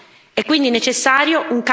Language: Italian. essere uno maggiore reciprocità.